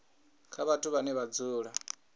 kha vhathu vhane vha dzula